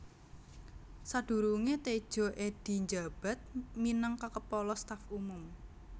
Sadurunge Tedjo Edhy njabat minang kaKepala Staf Umum